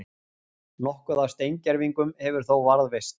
Nokkuð af steingervingum hefur þó varðveist.